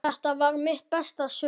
Þetta varð mitt besta sumar.